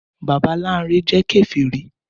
Bàbá Láńrẹ jẹ́ Kèfèrí